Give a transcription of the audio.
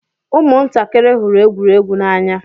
Ụmụ ntakịrị hụrụ egwuregwu n'anya.